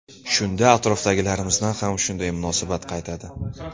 Shunda atrofdagilarimizdan ham shunday munosabat qaytadi”.